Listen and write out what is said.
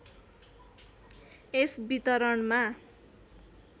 यस वितरणमा